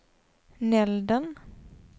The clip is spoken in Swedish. Nälden